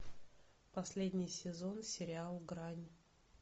последний сезон сериал грань